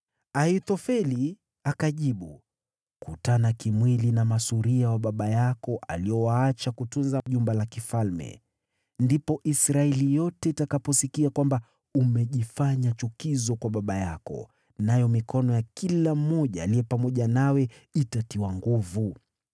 Ahithofeli akamjibu, “Kutana kimwili na masuria wa baba yako aliowaacha kutunza jumba la kifalme. Ndipo Israeli yote itakaposikia kwamba umejifanya chukizo kwa baba yako, nayo mikono ya kila mmoja aliye pamoja nawe itatiwa nguvu.”